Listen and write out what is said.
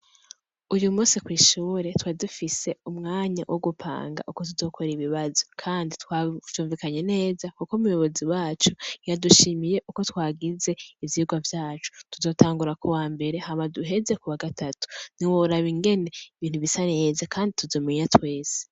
Uyu munsi kw’ishure twari dufise umwanya wo gupanga uko tuzokora ibibazo kandi twavyumvikanye neza kuko muyobozi wacu yadushimiye uko twagize ivyigwa vyacu tuzotangura kuwa mbere hama duheze ku wa gatatu, ntiworaba ingene ibintu bisa neza ,kandi tuzomenya twese.